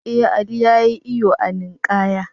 Ee, Ali ya yi iyo a ninkaya.